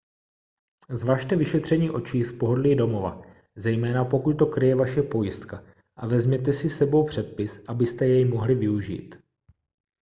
zvažte vyšetření očí z pohodlí domova zejména pokud to kryje vaše pojistka a vezměte si s sebou předpis abyste jej mohli využít